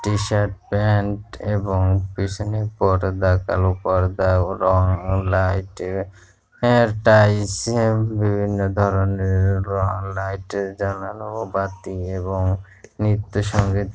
টি shirt pant এবং পিছনের পর্দা কালো পর্দা রং লাইট এর বিভিন্ন ধরণে রং লাইট জানালা ও বাতি এবং নির্তসংগীত ।